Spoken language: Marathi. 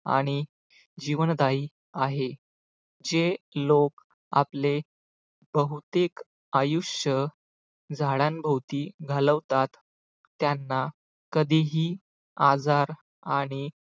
आणि जीवनदायी आहे. जे लोक आपले बहुतेक आयुष्य झाडांभोवती घालतात त्यांना कधीही आजार आणि